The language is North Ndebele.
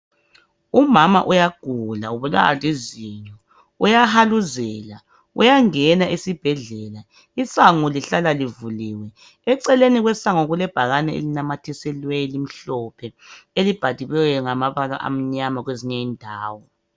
Umama uyagula ubulawa lizinyo uyahaluzela uyangena esibhedlela isango lihlala livuliwe eceleni kwesango kulebhakane esinamathiselweyo elimhlophe elibhaliweyo ngamabala amnyama kwezinye indawo